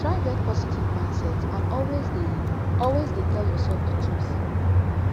try get positive mindset and always de always de tell yourself di truth